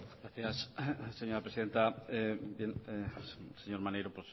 señora presidenta señor maneiro